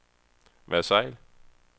Versailles